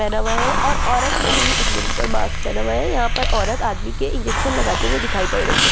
पहना हुआ है और औरत ने भी अपने मुँह पर मास्क पहना हुआ है यहाँ पर औरत आदमी को इंजेक्शन लगते हुए दिखाई पड़ रही हैं।